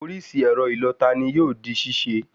Orísìí ẹ̀rọ ìlọta ni yóò di ṣíṣe